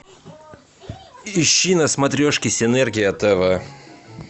ищи на смотрешке синергия тв